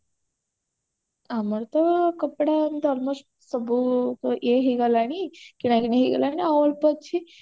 ଆମର ତ କପଡା ସବୁ almost ଇଏ ହେଇଗଲାଣି କିଣାକିଣି ହେଇଗଲାଣି ଆଉ ଅଳ୍ପ ଅଛି